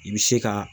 I bɛ se ka